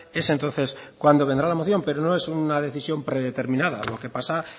es entonces cuando vendrá la moción pero no es una decisión predeterminada lo que pasa